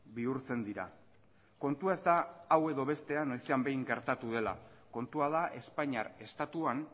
bihurtzen dira kontua ez da hau edo bestea noizean behin gertatu dela kontua da espainiar estatuan